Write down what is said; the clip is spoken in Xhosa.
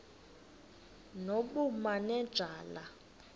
nobumanejala